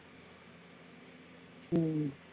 உம்